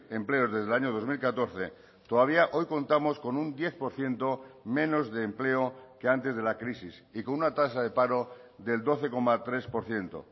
empleos desde el año dos mil catorce todavía hoy contamos con un diez por ciento menos de empleo que antes de la crisis y con una tasa de paro del doce coma tres por ciento